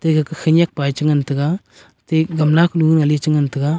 egake khenyak pae chingan taiga te gamla kunu chingan taiga.